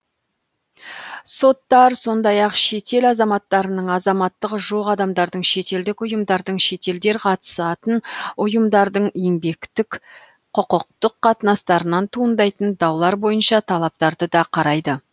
соттар сондай ақ шетел азаматтарының азаматтығы жоқ адамдардың шетелдік ұйымдардың шетелдер қатысатын ұйымдардың еңбектік құқықтық қатынастарынан туындайтын даулар бойынша талаптарды да қарайды